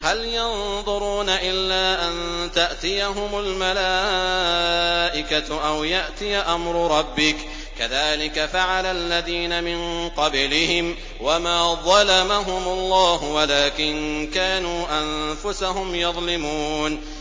هَلْ يَنظُرُونَ إِلَّا أَن تَأْتِيَهُمُ الْمَلَائِكَةُ أَوْ يَأْتِيَ أَمْرُ رَبِّكَ ۚ كَذَٰلِكَ فَعَلَ الَّذِينَ مِن قَبْلِهِمْ ۚ وَمَا ظَلَمَهُمُ اللَّهُ وَلَٰكِن كَانُوا أَنفُسَهُمْ يَظْلِمُونَ